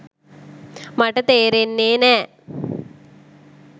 මට තේරෙන්නේ නෑ.